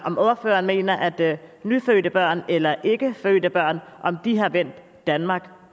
om ordføreren mener at at nyfødte børn eller endnu ikke fødte børn har vendt danmark